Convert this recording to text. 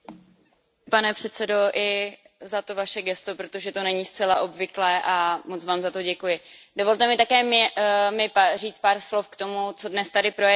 Pane předsedající, děkuji i za to Vaše gesto, protože to není zcela obvyklé, a moc Vám za to děkuji. Dovolte mi také říct pár slov k tomu, co zde dnes projednáváme.